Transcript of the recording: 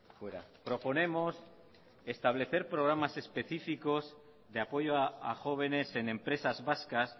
fuera proponemos establecer programas específicos de apoyo a jóvenes en empresas vascas